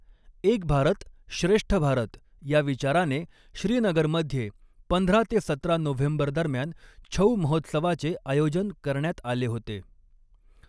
एक भारत श्रेष्ठ भारत ह्या विचाराने, श्रीनगरमध्ये पंधरा ते सतरा नोव्हेंबर दरम्यान छऊ महोत्सवाचे आयोजन करण्यात आले होते.